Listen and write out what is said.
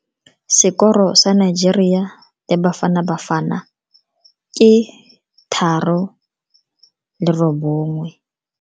Sekoro sa Nigeria le Bafanabafana ke 3-1 mo motshamekong wa maloba.